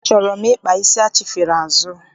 Achọrọ m ịkpa isi achifere azụ.